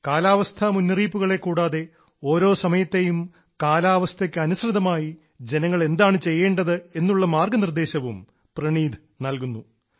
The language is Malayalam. കാലാവസ്ഥാ മുന്നറിയിപ്പുകളെ കൂടാതെ ഓരോ സമയത്തെയും കാലാവസ്ഥയ്ക്ക് അനുസൃതമായി ജനങ്ങൾ എന്താണ് ചെയ്യേണ്ടത് എന്നുള്ള മാർഗ്ഗനിർദ്ദേശവും പ്രണീത് നൽകുന്നു